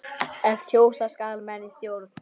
ef kjósa skal menn í stjórn.